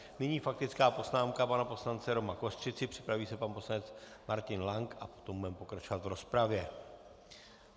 Nyní faktická poznámka pana poslance Roma Kostřici, připraví se pan poslanec Martin Lank a potom budeme pokračovat v rozpravě.